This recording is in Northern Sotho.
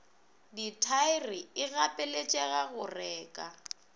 dithaere e gapeletšega go reka